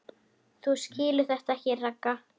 Þú skilur þetta ekki, Ragga.